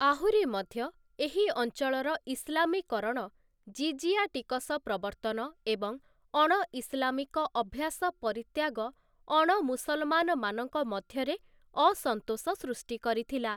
ଆହୁରି ମଧ୍ୟ, ଏହି ଅଞ୍ଚଳର ଇସଲାମୀକରଣ, ଜିଜିଆ ଟିକସ ପ୍ରବର୍ତ୍ତନ ଏବଂ ଅଣ ଇସଲାମିକ ଅଭ୍ୟାସପରିତ୍ୟାଗ ଅଣ ମୁସଲମାନମାନଙ୍କ ମଧ୍ୟରେ ଅସନ୍ତୋଷ ସୃଷ୍ଟି କରିଥିଲା ।